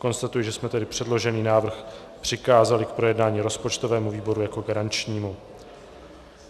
Konstatuji, že jsme tedy předložený návrh přikázali k projednání rozpočtovému výboru jako garančnímu.